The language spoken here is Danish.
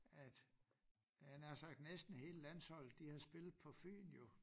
At havde jeg nær sagt næsten hele landsholdet de havde spillet på Fyn jo